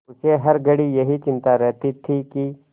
उसे हर घड़ी यही चिंता रहती थी कि